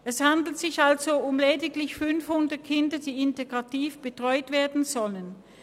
Es handelt sich also lediglich um 500 Kinder, die integrativ betreut werden sollen.